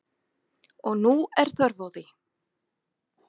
Og nú er þörf á því.